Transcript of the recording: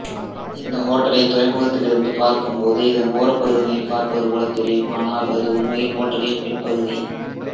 இந்த ஹோட்டலை துறைமுகத்தில் இருந்து பார்க்கும்போது இதன் ஓரப்பகுதியினைப் பார்ப்பது போலத் தெரியும் ஆனால் அது உண்மையில் ஹோட்டலின் பின்பகுதி